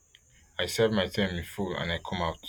i serve my term in full and i come out